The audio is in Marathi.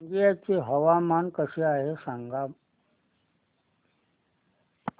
रंगिया चे हवामान कसे आहे सांगा